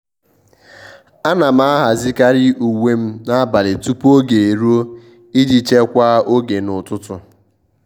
à nà m àhàzị́karị uwe m n’ábàlị̀ tupu ógè érúọ iji chekwaa oge n’ụ́tụ́tụ́.